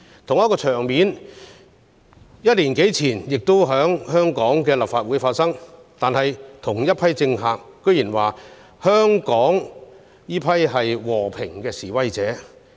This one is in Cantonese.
同一個場面，一年多前亦在香港的立法會出現，但同一批政客卻說香港那些人是和平示威者。